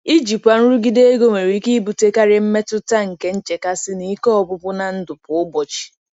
Ijikwa nrụgide ego nwere ike ibutekarị mmetụta nke nchekasị na ike ọgwụgwụ na ndụ kwa ụbọchị.